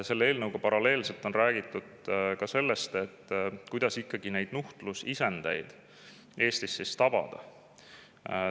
Selle eelnõuga paralleelselt on räägitud ka sellest, kuidas ikkagi neid nuhtlusisendeid Eestis tabada.